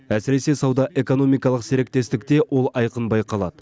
әсіресе сауда экономикалық серіктестікте ол айқын байқалады